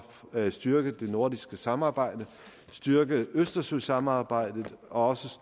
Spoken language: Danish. at styrke det nordiske samarbejde styrke østersøsamarbejdet og også